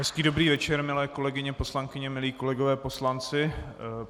Hezký dobrý večer, milé kolegyně poslankyně, milí kolegové poslanci.